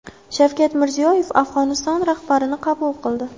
Shavkat Mirziyoyev Afg‘oniston rahbarini qabul qildi.